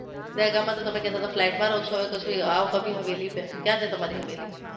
દહેગામમાં તો તમે કેતા તા કે ફ્લેટમાં રહો છો અને પછી આઓ કભી હવેલી પર ક્યા છે તમારી હવેલી